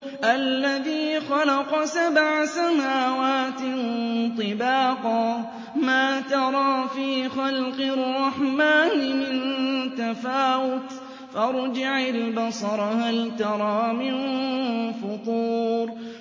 الَّذِي خَلَقَ سَبْعَ سَمَاوَاتٍ طِبَاقًا ۖ مَّا تَرَىٰ فِي خَلْقِ الرَّحْمَٰنِ مِن تَفَاوُتٍ ۖ فَارْجِعِ الْبَصَرَ هَلْ تَرَىٰ مِن فُطُورٍ